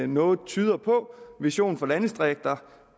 noget tyder på vision for landdistrikter